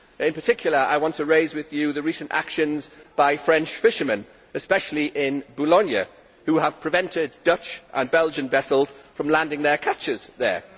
In particular, I want to raise with you the recent actions by French fishermen in Boulogne who have prevented Dutch and Belgian vessels from landing their catches there.